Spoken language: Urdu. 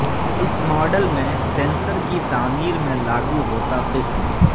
اس ماڈل میں سینسر کی تعمیر میں لاگو ہوتا قسم